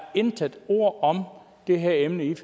intet ord om det her emne